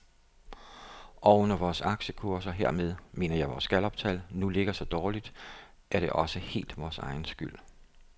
Og når vores aktiekurser, hermed mener jeg vores galluptal, nu ligger så dårligt, er det også helt vores egen skyld.